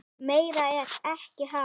Meira er ekki að hafa.